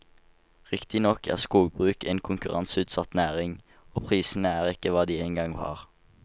Riktignok er skogbruk en konkurranseutsatt næring, og prisene er ikke hva de engang var.